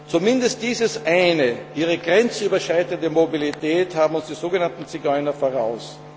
Zumindest dieses Eine, ihre grenzüberschreitende Mobilität, haben uns die so genannten Zigeuner voraus.